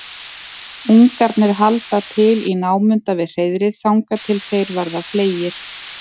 ungarnir halda til í námunda við hreiðrið þangað til þeir verða fleygir